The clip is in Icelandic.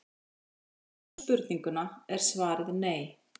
Eins og við skiljum spurninguna er svarið nei.